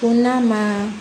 Ko n'a ma